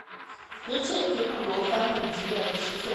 включай кино глухомань девятый сезон